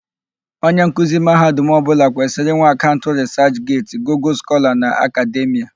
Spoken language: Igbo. Onye nkuzi mahadum ọbụla kwesịrì ịnwe akaụnt rịsachget, Gugul Skọla na Akademịa.